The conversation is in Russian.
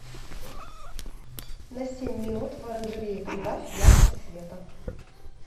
на семь минут в оранжерее прибавь яркость света